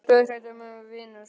Ég var dauðhrædd um að vinur